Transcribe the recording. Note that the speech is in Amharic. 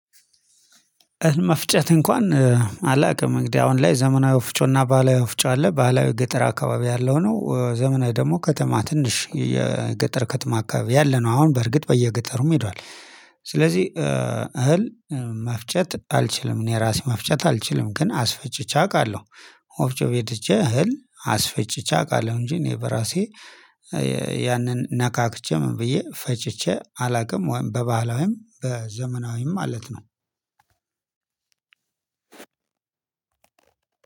መፍጨት እንኳን አላቅም እንግዲህ አሁን ላይ ዘመናዊ ወፍጮና ባህላዊ ወፍጮ አለ ባህላዊ ገጠር አካባቢ ያለው ነው። ዘመናይ ደግሞ ከተማ ትንሽ የገጠር ከተማ አካባቢ ያለ ነው። አሁን በርግጥ በየገጠሩም ሄዷል። ስለዚህ እህል መፍጨት አልችልም እኔ ራሴ መፍጨት አልችልም ግን አስፈጭቼ አውቃለሁ ወፍጮ ቤት ሄጄ እህል አስፈጭቼ አውቃለሁ። እንጂ እኔ በራሴ ያንን ነካክቼ ምን ብዬ ፈጭቼ አላውቅም። ወይም በባህላዊም በዘመናዊም ማለት ነው አዎ